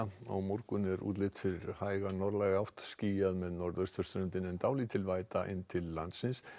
á morgun er útlit fyrir hæga norðlæga átt skýjað með norðurströndinni en dálítil væta inn til landsins